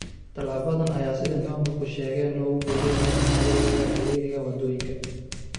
Talaabadan ayaa sida ay maamulku sheegeen looga golleeyahay in lagu yareeyo ciriiriga waddooyinka.